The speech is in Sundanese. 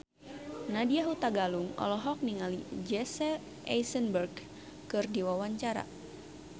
Nadya Hutagalung olohok ningali Jesse Eisenberg keur diwawancara